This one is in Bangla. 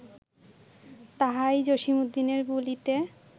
তাহাই জসীমউদ্দীনের বুলিতে